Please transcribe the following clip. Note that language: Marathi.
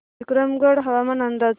विक्रमगड हवामान अंदाज